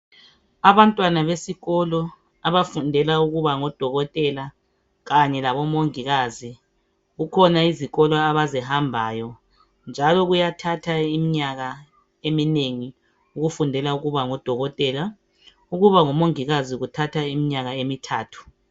Abantwana besikolo abafundela ukuba ngodokotela kanye labomongikazi kukhona izikolo abazihambayo njalo kuyathatha iminyaka eminengi ukufundela ukuba ngodokotela. Ukuba ngumongikazi kuthatha iminyaka emithathu.